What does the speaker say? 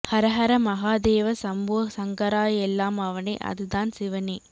ஹர ஹர மகா தேவா சம்போ சங்கரா எல்லாம் அவனே அது தான் சிவனே